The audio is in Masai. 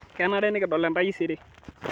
Kenare nikidol entaisere